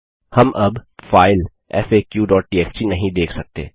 हम अब file FAQ TXT नहीं देख सकते